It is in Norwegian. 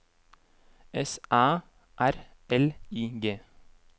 S Æ R L I G